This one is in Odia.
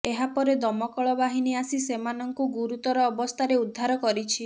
ଏହାପରେ ଦମକଳ ବାହିନୀ ଆସି ସେମାନଙ୍କୁ ଗୁରୁତର ଅବସ୍ଥାରେ ଉଦ୍ଧାର କରିଛି